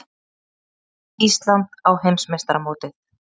Ísland á heimsmeistaramótið